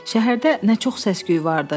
Şəhərdə nə çox səs-küy vardı.